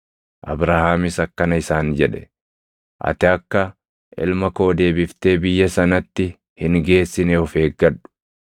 Abrahaamis akkana isaan jedhe; “Ati akka ilma koo deebiftee biyya sanatti hin geessine of eeggadhu.